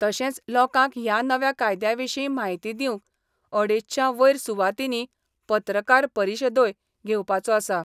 तशेच लोकांक ह्या नव्या कायद्याविशी म्हायती दिवंक अडेचशा वयर सुवातीनी पत्रकार परिषदोय घेवपाचो आसा.